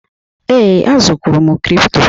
Ee, azụrụ kwụrụ m kripto.